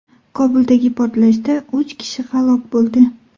Kobuldagi portlashda uch kishi halok bo‘ldi.